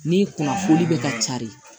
Ni kunnafoni bɛ ka cari